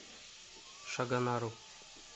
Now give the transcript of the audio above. шагонару